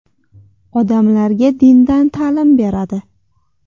Odamlarga dindan ta’lim beradi.